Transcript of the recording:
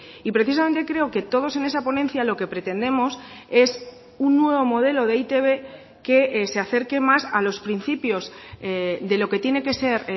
y precisamente creo que todos en esa ponencia lo que pretendemos es un nuevo modelo de e i te be que se acerque más a los principios de lo que tiene que ser